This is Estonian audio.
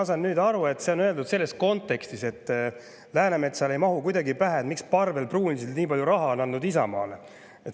Ma saan nüüd aru, et see on öeldud selles kontekstis, et Läänemetsale ei mahu kuidagi pähe, miks Parvel Pruunsild nii palju raha on andnud Isamaale.